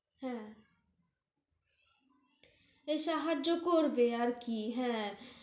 হ্যাঁ এই সাহায্য় করবে আরকি, হ্যাঁ